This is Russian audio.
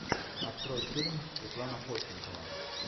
открой фильм светлана ходченкова